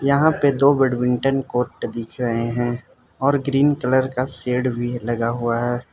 यहां पे दो बैडमिंटन कोट दिख रहे हैं और ग्रीन कलर का शेड भी लगा हुआ है।